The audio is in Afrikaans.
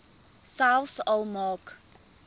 selfs al maak